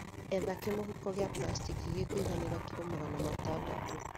Etha kĩmũhuko gĩa plasteki gĩkũiganĩra kilo magana matandatũ